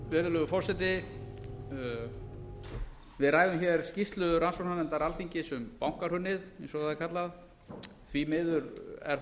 virðulegur forseti við ræðum hér skýrslu rannsóknarnefndar alþingis um bankahrunið eins og það er kallað því miður er